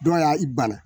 Dɔw y'a i bana